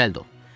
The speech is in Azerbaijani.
Cəld ol.